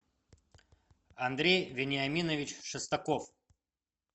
андрей вениаминович шестаков